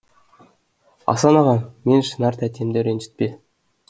асан аға мен шынар тәтемді ренжітпе